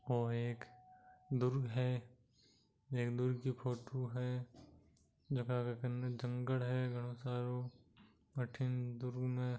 ये एक दुर्ग है एक दुर्ग की फोटो है जहाँ घना जंगल है बहुत सारो अठीन दुर्ग--